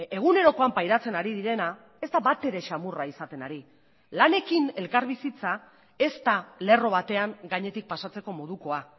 egunerokoan pairatzen ari direna ez da batere xamurra izaten ari lanekin elkarbizitza ez da lerro batean gainetik pasatzeko modukoa